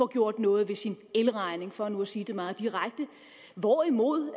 gjort noget ved sin elregning for nu at sige det meget direkte hvorimod